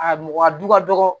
A mɔgɔ a du ka dɔgɔ